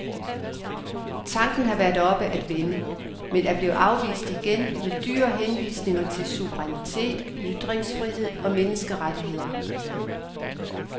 Tanken har været oppe at vende, men er blevet afvist igen med dyre henvisninger til suverænitet, ytringsfrihed og menneskerettigheder.